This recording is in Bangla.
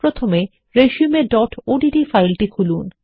প্রথমে resumeওডিটি ফাইল খুলুন